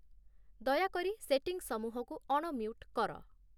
ଦୟାକରି ସେଟିଂସମୂହକୁ ଅଣମ୍ୟୁଟ୍ କର